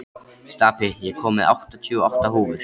Stapi, ég kom með áttatíu og átta húfur!